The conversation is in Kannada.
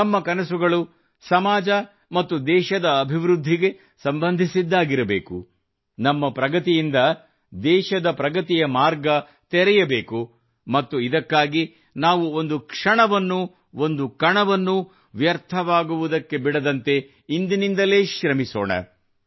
ನಮ್ಮ ಕನಸುಗಳು ಸಮಾಜ ಮತ್ತು ದೇಶದ ಅಬಿವೃದ್ಧಿಗೆ ಸಂಬಂಧಿಸಿದ್ದಾಗಿರಬೇಕು ನಮ್ಮ ಪ್ರಗತಿಯಿಂದ ದೇಶದ ಪ್ರಗತಿಯ ಮಾರ್ಗ ತೆರೆಯಬೇಕು ಮತ್ತು ಇದಕ್ಕಾಗಿ ನಾವು ಒಂದು ಕ್ಷಣವನ್ನೂ ಒಂದು ಕಣವನ್ನೂ ವ್ಯರ್ಥವಾಗುವುದಕ್ಕೆ ಬಿಡದಂತೆ ಇಂದಿನಿಂದಲೇ ಶ್ರಮಿಸೋಣ